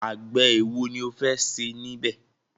Àgbẹ̀ ẹ̀wo ni o fẹ́ ṣe níbẹ̀?